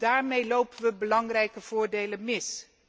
Daarmee lopen we belangrijke voordelen mis.